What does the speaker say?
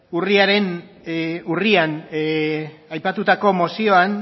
urrian aipatuta mozioan